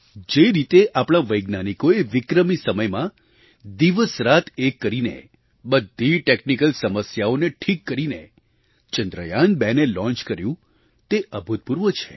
જે રીતે આપણા વૈજ્ઞાનિકોએ વિક્રમી સમયમાં દિવસરાત એક કરીને બધી ટૅક્નિકલ સમસ્યાઓને ઠીક કરીને ચંદ્રયાનબેને લૉન્ચ કર્યું તે અભૂતપૂર્વ છે